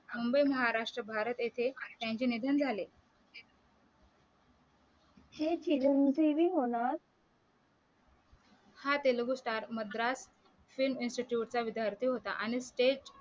मुंबई महाराष्ट्र भारत इथे त्यांचे निधन झाले हे चिरंजीवी होनार हा Telugu star Madras film institute चा विद्यार्ती होता आणि ते